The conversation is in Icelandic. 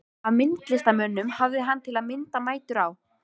Af myndlistarmönnum hafði hann, til að mynda, mætur á